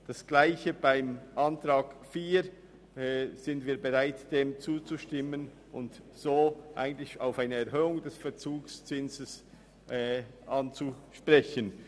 Wir sind auch bereit, der Planungserklärung 4 zuzustimmen und eine Erhöhung des Verzugszinses anzunehmen.